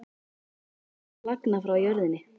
Einn var að flagna frá jörðinni.